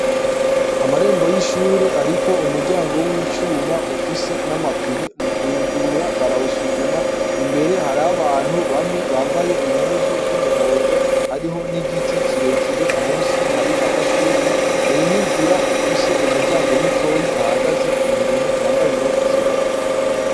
Amarembo y'ishure ariko umuryango w'icuma ufise n'amapime mukuwugurura barawusuguma. Imbere hariho abantu bamwe bambaye impuzu z'umuhondo; hariho n'igiti kirekire musi hari amashugwe, hari n'inzira ifise umuryango mutoya hahagaze umuntu yambaye impuzu zirabura.